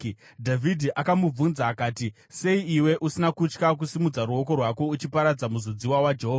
Dhavhidhi akamubvunza akati, “Sei iwe usina kutya kusimudza ruoko rwako uchiparadza muzodziwa waJehovha?”